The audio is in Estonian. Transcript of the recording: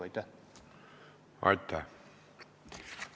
Aitäh!